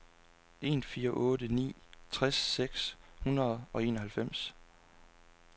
en fire otte ni tres seks hundrede og enoghalvfems